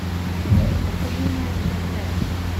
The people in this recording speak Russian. афина сколько занимает хэйхэ